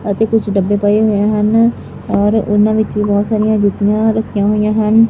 ਅਤੇ ਕੁਝ ਡੱਬੇ ਪਏ ਹੋਏ ਹਨ ਔਰ ਓਹਨਾਂ ਵਿਚ ਵੀ ਬਹੁਤ ਸਾਰੀਆਂ ਜੁੱਤੀਆਂ ਰੱਖੀਆਂ ਹੋਇਆ ਹਨ।